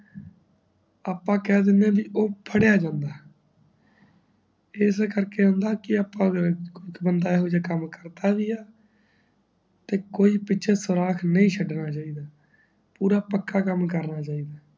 ਅੱਪਾ ਕਹਿ ਦੇਂਦਿਆਂ ਜੀ ਉਹ ਫੜਿਆ ਜਾਂਦਾ ਐੱਸ ਕਰਕੇ ਕਿ ਅੱਪਾ ਬੰਦਾ ਇਹੋ ਜਿਯਾ ਕਾਮ ਕਰਦਾ ਵੀ ਈ ਤੇ ਕੋਈ ਪਿੱਛੇ ਸੁਰਾਖ ਨੀ ਛਡਣਾ ਚਾਹੀਦਾ ਪੂਰਾ ਪੱਕਾ ਕਾਮ ਕਰਨਾ ਚਾਹੀਦਾ